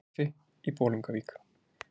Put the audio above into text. Í kaffi í Bolungavík